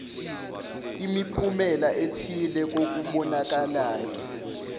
imiphumela ethile kokubonakalayo